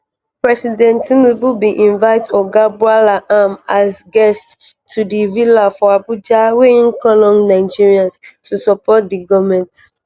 president tinubu bin invite oga bwala am as guest to di villa for abuja wia im call on nigerians to support di goment.